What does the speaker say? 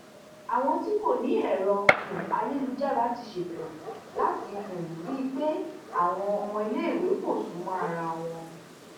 àwọn tí kò ní èrò um ayélujára ti ṣètò láti um rí i pé àwọn ọmọléèwé kò sún mọ ara wọn